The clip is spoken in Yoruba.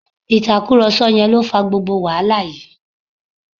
Ìtàkùrọ̀sọ yẹn lo fà gbogbo wàhálà yìí